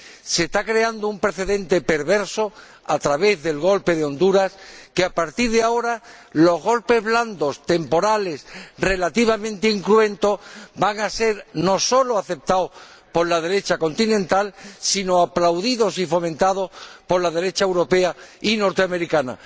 Se está creando un precedente perverso a través del golpe de Honduras, ya que, a partir de ahora, los golpes blandos temporales relativamente incruentos van a ser no solo aceptados por la derecha continental, sino aplaudidos y fomentados por la derecha europea y norteamericana.